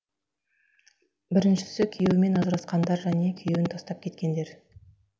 біріншісі күйеуімен ажырасқандар және күйеуі тастап кеткендер